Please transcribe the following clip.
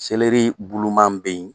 Seleri buluma bɛ yen